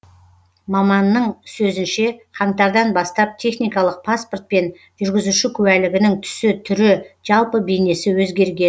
маманның сөзінше қаңтардан бастап техникалық паспорт пен жүргізуші куәлігінің түсі түрі жалпы бейнесі өзгерген